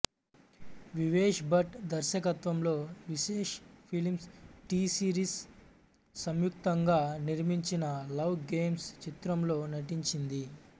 వివేష్ భట్ దర్శకత్వంలో Vishesh films T Series సంయుక్తంగా నిర్మించిన లవ్ గేమ్స్ చిత్రంలో నటించింది